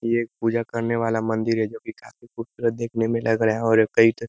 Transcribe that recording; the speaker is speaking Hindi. ये एक पूजा करने वाला मंदिर है जोकि काफ़ी खूबसूरत देखने में लग रहा है और ये कई --